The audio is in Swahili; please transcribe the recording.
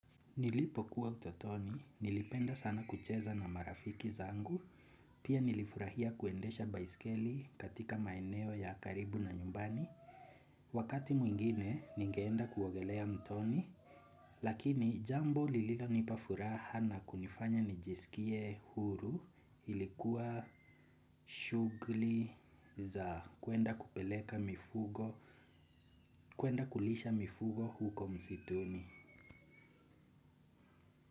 Nilipo kuwa utotoni, nilipenda sana kucheza na marafiki zangu, pia nilifurahia kuendesha baiskeli katika maeneo ya karibu na nyumbani. Wakati mwingine, nigeenda kuogelea mtoni, lakini jambo lililonipa furaha na kunifanya nijisikie huru ilikuwa shugli za kuenda kupeleka mifugo, kuenda kulisha mifugo huko msituni.